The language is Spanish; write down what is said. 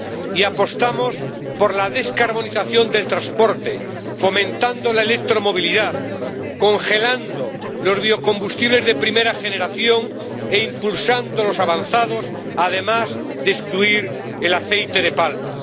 Y apostamos por la descarbonización del transporte, fomentando la electromovilidad, congelando los biocombustibles de primera generación e impulsando los avanzados, además de excluir el aceite de palma.